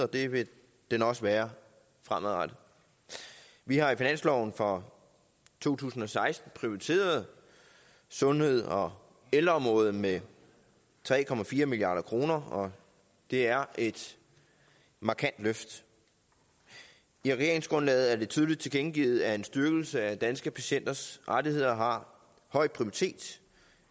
og det vil den også være fremadrettet vi har i finansloven for to tusind og seksten prioriteret sundhed og ældreområdet med tre milliard kr og det er et markant løft i regeringsgrundlaget er det tydeligt tilkendegivet at en styrkelse af danske patienters rettigheder har høj prioritet